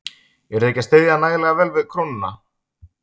Eruð þið ekki að styðja nægilega vel við krónuna?